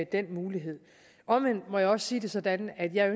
den mulighed omvendt må jeg også sige det sådan at jeg